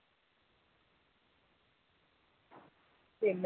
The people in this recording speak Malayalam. പിന്നെ